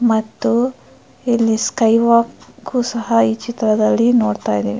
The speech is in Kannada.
ಮತ್ತು ಇಲ್ಲಿ ಸ್ಕೈ ವಾಕ್ ಸಹಾ ಚಿತ್ರದಲ್ಲಿ ನೋಡತಾ ಇದೀವಿ --